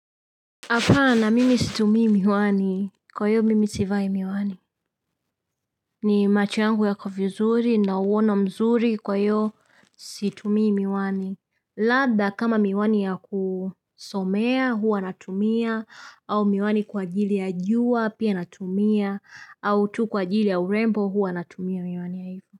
Hapana, mimi situmii miwani. Kwa hiyo, mimi sivai miwani. Ni machiangu ya kofuzuri na uwono mzuri kwa hiyo situmii miwani. Labda kama miwani ya kusomea, huwa natumia. Au miwani kwa ajili ya jua, pia natumia. Au tu kwa ajili ya urembo, huwa natumia miwani ya hivyo.